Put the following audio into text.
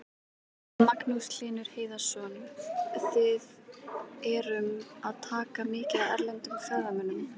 Magnús Hlynur Hreiðarsson: Þið erum að taka mikið af erlendum ferðamönnum?